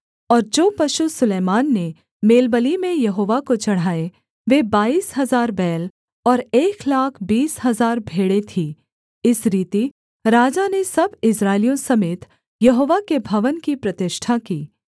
और जो पशु सुलैमान ने मेलबलि में यहोवा को चढ़ाए वे बाईस हजार बैल और एक लाख बीस हजार भेड़ें थीं इस रीति राजा ने सब इस्राएलियों समेत यहोवा के भवन की प्रतिष्ठा की